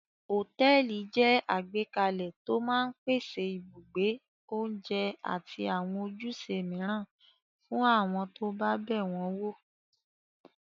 Hòtẹ́ẹ́lì jẹ́ àgbékalẹ̀ tó máa ń pèsè ibùgbé, oúnjẹ àti àwọn ojúṣe mìíràn fún àwọn tó bá bẹ̀ wọ́n wò.